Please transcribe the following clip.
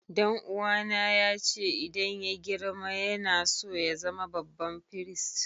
Dan uwa na ya ce idan yayi girma yana so ya zama babban firist.